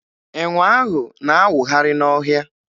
Enwe ahụ na-awụgharị n'ọhịa.